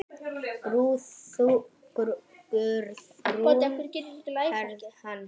Guðrún Hrefna.